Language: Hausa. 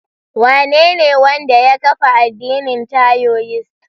Wanene wanda ya kafa addinin taioist?